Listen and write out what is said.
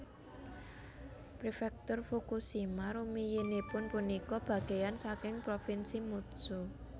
Prefektur Fukushima rumiyinipun punika bagéyan saking Provinsi Mutsu